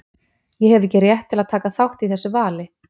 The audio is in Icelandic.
Ég hef ekki rétt til að taka þátt í þessu vali.